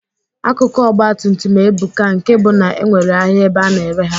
Akụkụ Ọgbatumtum ebuka nke bụ na enwere ahịa ebe a na-ere ha.